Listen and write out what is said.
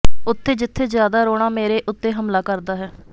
ਉੱਥੇ ਜਿੱਥੇ ਜ਼ਿਆਦਾ ਰੋਣਾ ਮੇਰੇ ਉੱਤੇ ਹਮਲਾ ਕਰਦਾ ਹੈ